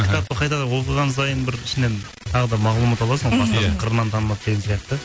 кітапты қайтадан оқыған сайын бір ішінен тағы да мағлұмат аласың ғой мхм қырынан танылады деген сияқты